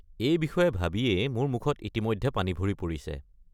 এই বিষয়ে ভাবিয়ে মোৰ মুখত ইতিমধ্যে পানী ভৰি পৰিছে।